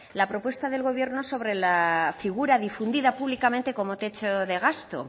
la propuesta del gobierno sobre la figura difundida públicamente como techo de gasto